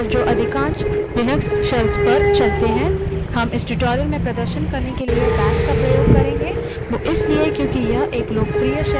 commands जो हम इस tutorial में देखेंगे वह काफी सामान्य हैं और जो मामूली बदलाव के साथ अधिकांश लिनक्स shells पर चलती हैं